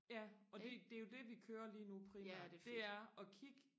ja og det det er jo det vi kører lige nu primært det er og kigge